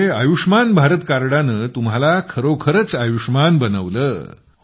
म्हणजे आयुष्मान भारत कार्डाने तुम्हाला खरोखरच आयुष्मान बनवलं